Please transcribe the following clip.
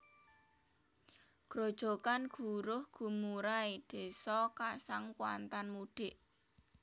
Grojogan Guruh Gemurai Désa Kasang Kuantan Mudik